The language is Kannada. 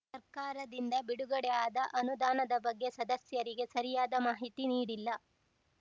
ಸರ್ಕಾರದಿಂದ ಬಿಡುಗಡೆ ಆದ ಅನುದಾನದ ಬಗ್ಗೆ ಸದಸ್ಯರಿಗೆ ಸರಿಯಾದ ಮಾಹಿತಿ ನೀಡಿಲ್ಲ